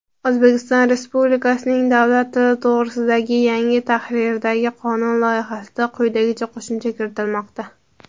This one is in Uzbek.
"O‘zbekiston Respublikasining davlat tili to‘g‘risida"gi yangi tahrirdagi qonun loyihasida quyidagicha qo‘shimcha kiritilmoqda:.